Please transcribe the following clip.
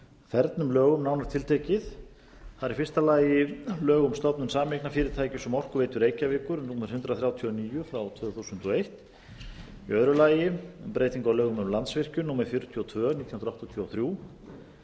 fernum lögum nánar tiltekið það er í fyrsta lagi lög um stofnun sameignarfyrirtækis um orkuveitu reykjavíkur númer hundrað þrjátíu og níu tvö þúsund og eitt í öðru lagi breyting á lögum um landsvirkjun númer fjörutíu og tvö nítján hundruð áttatíu og þrjú